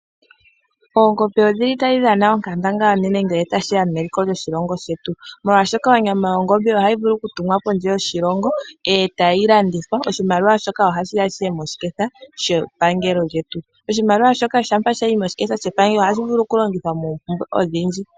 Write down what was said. Oongombe idhili tadhi dhana onkandangala ngele tashiya peliko lyoshilongo shetu oshoka onyama yongombe ohayi vulu okutumwa kondje yoshilongo niimaliwa mbyoka ohayi yi moshiketha shepangelo shampa shayimo ohashi vulu okulongithwa oompumbwe odhindji.